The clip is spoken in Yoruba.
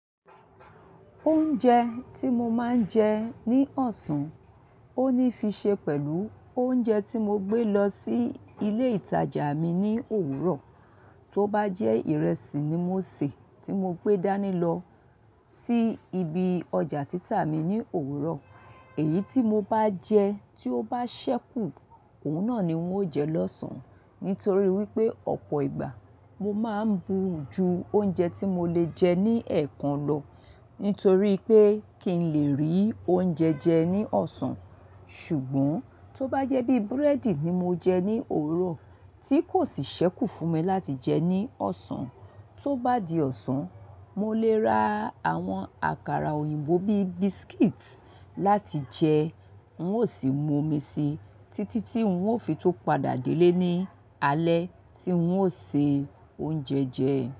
Oúnjẹ tí mo máa ń jẹ ní ọ̀sán, ó ní fi ṣe pẹ̀lú oúnjẹ tí mo gbé lọ sí ilé ìtajà mi ní òwúrọ̀. Tó bá jẹ́ ìrẹsì ni mo sè tí mo gbé dání lọ sí ibi ọjà títà mi ní òwúrọ̀, èyí tí mo bá jẹ tí ó bá ṣẹ́kù, òun náà ni ń ó jẹ lọ́sàn-án. Nítorí wípé ọ̀pọ̀ ìgbà mo máa ń buú ju oúnjẹ tí mo lè jẹ ní ẹ̀ẹ̀kan lọ nítorí pé kí n lè rí oúnjẹ jẹ ní ọ̀sán. Ṣùgbọ́n tó bá jẹ́ bí búrẹ́dì ni mo jẹ ní òwúrọ̀ tí kò sì ṣẹ́kù fún mi láti jẹ ní ọ̀sán, tó bá di ọ̀sán, mo lè ra àwọn àkàrà òyìnbó bí biscuit láti jẹ ń ó sì mu omi síi títí tí ń ó fi tó padà délé ní alẹ́ tí ń ó se oúnjẹ jẹ.